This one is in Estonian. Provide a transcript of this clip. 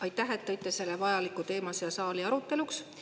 Aitäh, et te võite selle vajaliku teema siia saali aruteluks.